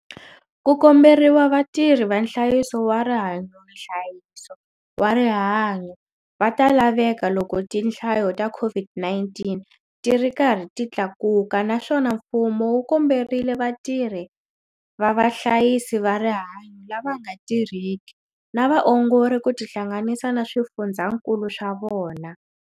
Ku komberiwa vatirhi va nhlayiso wa Rihanyonhlayiso wa rihanyo va ta laveka loko tihlayo ta COVID-19 ti ri karhi ti tlakuka naswona mfumo wu komberile vatirhi va vahlayisi va rihanyo lava nga tirheki na vaongori ku tihlanganisa na swifundzakulu swa vona.